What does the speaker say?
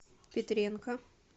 петренко